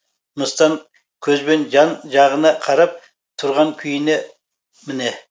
мыстан көзбен жан жағына қарап тұрған күйіне міне